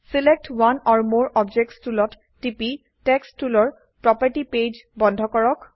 select one or more objects টুলত টিপি text টুলৰ প্ৰোপাৰ্টি পেজ বন্ধ কৰক